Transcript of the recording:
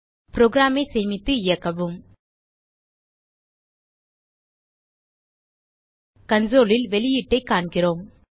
program ஐ சேமித்து இயக்கவும் கன்சோல் ல் வெளியீட்டைக் காண்கிறோம்